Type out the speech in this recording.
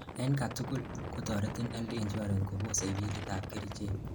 en katugul: kotoretin health insurance kobosei bilit ab kerichek